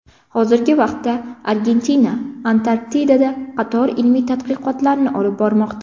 Hozirgi vaqtda Argentina Antarktidada qator ilmiy tadqiqotlarni olib bormoqda.